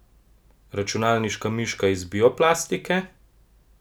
Računalniška miška iz bioplastike?